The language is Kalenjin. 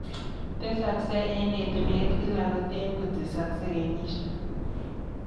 Tesaksei eng etuneet kila kotee kotesaksei kenyisiek.